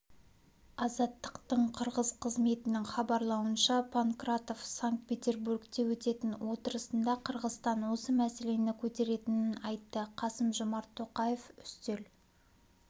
азаттықтың қырғыз қызметінің хабарлауынша понкратов санкт-петербургте өтетін отырысында қырғызстан осы мәселені көтеретінін айтты қасым-жомарт тоқаев үстел